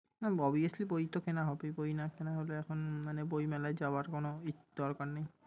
হুম obviously বই তো কেনা হবেই। বই না কেনা হলে এখন মানে বইমেলায় যাওয়ার কোন দরকার নেই।